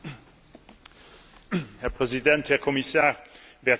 Herr Präsident, Herr Kommissar, werte Kolleginnen und Kollegen!